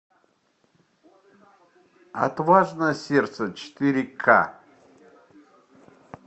отважное сердце четыре ка